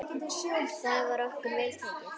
Þar var okkur vel tekið.